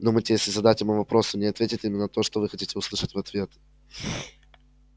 думаете если задать ему вопрос он не ответит именно то что вы хотите услышать в ответ